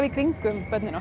í kringum börnin